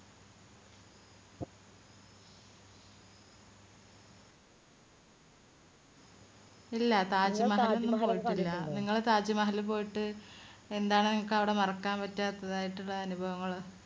ഇല്ല താജ്മഹൽ പോയിട്ടില്ല കണ്ടിട്ടില്ല ഇങ്ങള് താജ്മഹൽ പോയിട്ട് എന്താണ് നിങ്ങക്കവിടെ മറക്കാൻ പറ്റാത്തതായിട്ടുള്ള അനുഭവങ്ങൾ